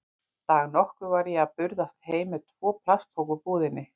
Dag nokkurn var ég að burðast heim með tvo plastpoka úr búðinni.